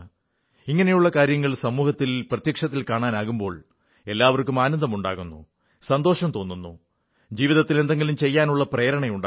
ഇങ്ങനെയുള്ള കാര്യങ്ങൾ സമൂഹത്തിൽ പ്രത്യക്ഷത്തിൽ കാണാനാകുമ്പോൾ എല്ലാവർക്കും ആനന്ദമുണ്ടാകുന്നു സന്തോഷം തോന്നുന്നു ജീവിതത്തിൽ എന്തെങ്കിലും ചെയ്യാനുള്ള പ്രേരണയുമുണ്ടാകുന്നു